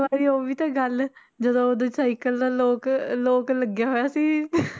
ਵਾਰੀ ਉਹ ਵੀ ਤਾਂਂ ਗੱਲ ਜਦੋਂ ਉਹਦਾ ਸਾਇਕਲ ਦਾ lock lock ਲੱਗਿਆ ਹੋਇਆ ਸੀ